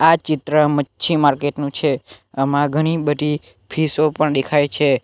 આ ચિત્ર મચ્છી માર્કેટ નું છે આમાં ઘણી બધી ફિશો પણ દેખાય છે.